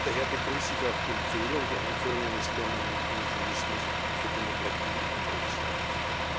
Daher begrüße ich auch die Empfehlung der Einführung eines permanenten Mechanismus für Demokratie und Rechtsstaatlichkeit.